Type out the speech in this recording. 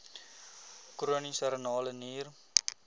chroniese renale nier